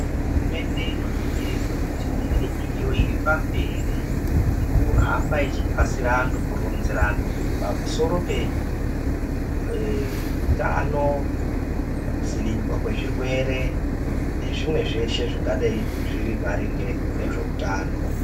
Hurumende inoningirirwa kuti inge iri pamberi nekuhamba nekunasira antu kuronzera antu pamusoro pehutano kudzivirirwa kwezvirwere nezvimweni zveshe zvingadai maringe nehutano.